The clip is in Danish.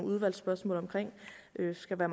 skal